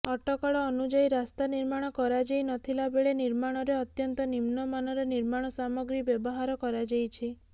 ଅଟକଳ ଅନୁଯାୟୀ ରାସ୍ତା ନିର୍ମାଣ କରାଯାଇ ନଥିଲାବେଳେ ନିର୍ମାଣରେ ଅତ୍ୟନ୍ତ ନିମ୍ନମାନର ନିର୍ମାଣ ସାମଗ୍ରୀ ବ୍ୟବହାର କରାଯାଇଛି